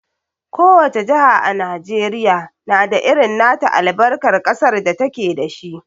Ko wace jaha a Najeriya na da irin nata albarkar ƙasar da ta ke da shi.